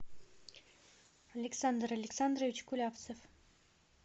александр александрович кулявцев